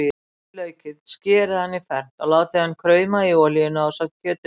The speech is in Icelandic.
Flysjið laukinn, skerið hann í fernt og látið krauma í olíunni ásamt kjötinu.